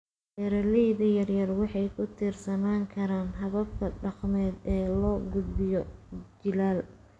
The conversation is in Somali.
Beeralayda yar-yar waxay ku tiirsanaan karaan hababka dhaqameed ee loo gudbiyo jiilal.